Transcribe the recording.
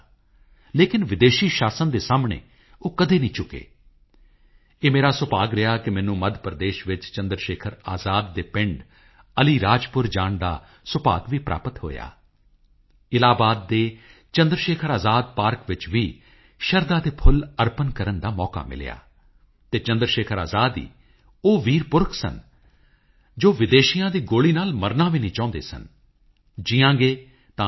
ਸਾਥੀਓ 2 ਅਕਤੂਬਰ 2014 ਨੂੰ ਅਸੀਂ ਆਪਣੇ ਦੇਸ਼ ਨੂੰ ਸਵੱਛ ਬਣਾਉਣ ਅਤੇ ਖੁੱਲ੍ਹੇ ਵਿੱਚ ਸ਼ੌਚ ਤੋਂ ਮੁਕਤ ਕਰਨ ਲਈ ਇਕੱਠੇ ਮਿਲ ਕੇ ਹਮੇਸ਼ਾ ਯਾਦ ਰਹਿਣ ਵਾਲੀ ਯਾਤਰਾ ਸ਼ੁਰੂ ਕੀਤੀ ਸੀ ਭਾਰਤ ਦੇ ਜਨਜਨ ਦੇ ਸਹਿਯੋਗ ਨਾਲ ਅੱਜ ਭਾਰਤ 2 ਅਕਤੂਬਰ 2019 ਤੋਂ ਬਹੁਤ ਪਹਿਲਾਂ ਹੀ ਖੁੱਲ੍ਹੇ ਵਿੱਚ ਸ਼ੌਚਮੁਕਤ ਹੋਣ ਵੱਲ ਵਧ ਰਿਹਾ ਹੈ ਜਿਸ ਨਾਲ ਕਿ ਬਾਪੂ ਨੂੰ ਉਨ੍ਹਾਂ ਦੀ 150ਵੀਂ ਜਯੰਤੀ ਉੱਪਰ ਉਨ੍ਹਾਂ ਨੂੰ ਸ਼ਰਧਾਂਜਲੀ ਦਿੱਤੀ ਜਾ ਸਕੇ